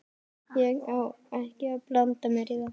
Ég á ekki að blanda mér í það.